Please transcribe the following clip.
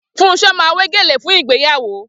Funso máa wé gèlè fún ìgbéyàwó